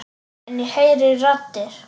En ég heyri raddir.